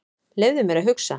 Leyfðu mér að hugsa.